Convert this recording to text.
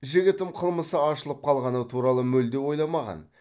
жігітім қылмысы ашылып қалғаны туралы мүлде ойламаған